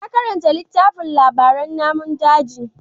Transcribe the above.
Ya karanta littafin labaran namun daji.